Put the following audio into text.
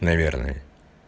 наверное